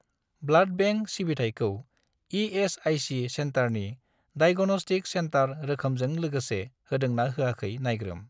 Blood bank सिबिथायखौ ESIC. सेन्टारनि diagnostic centre रोखोमजों लोगोसे होदों ना होयाखै नायग्रोम।